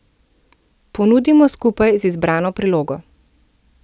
Ponudimo skupaj z izbrano prilogo.